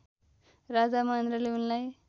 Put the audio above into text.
राजा महेन्द्रले उनलाई